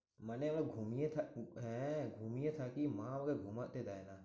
মানে আমার ঘুমিয়ে হ্যাঁ ঘুমিয়ে থাকি মা আমাকে ঘুমোতে দেয় না।